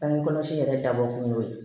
Bange kɔlɔsi yɛrɛ dabɔ kun y'o ye